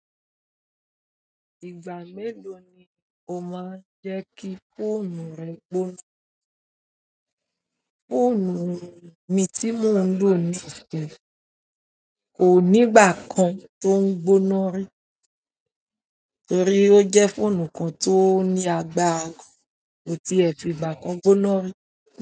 Ìgbà mélòó ni o máa ń jẹ́ kí fóònù rẹ gbóná? Fóònù mi tí mò ń lò ní isinyii ko ní ìgbà kan tó ń gbóná rí torí ó jẹ́ fóònù kan tó ní agbára gan ko ti ẹ fi ìgbà kan gbóná rí.